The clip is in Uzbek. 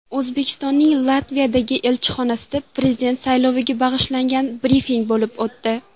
O‘zbekistonning Latviyadagi elchixonasida Prezident sayloviga bag‘ishlangan brifing bo‘lib o‘tdi.